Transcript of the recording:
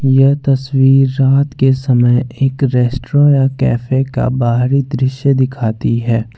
यह तस्वीर रात के समय एक रेस्ट्रा कैफे का बाहरी दृश्य दिखाती है।